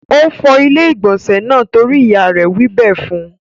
Ó fọ ilé-ìgbọ̀nsẹ̀ náà torí ìyá rẹ̀ wí bẹ́ẹ̀ fún.